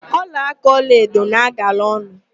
Ọlaáká ọlaedo na-agala ọnụ.